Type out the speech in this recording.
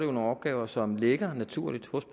om nogle opgaver som ligger naturligt hos